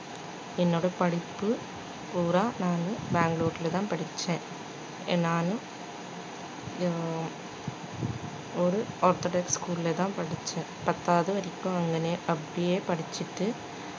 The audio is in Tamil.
என்னோட படிப்பு பூரா நானு பெங்களூருலதான் படிச்சேன் நானு அஹ் ஒரு orthodox school ல தான் படிச்சேன் பத்தாவது வரைக்கும் அங்கனே அப்படியே படிச்சுட்டு